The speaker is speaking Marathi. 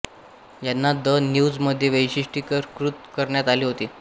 यांना द न्यूज मध्ये वैशिष्ट्यीकृत करण्यात आले होते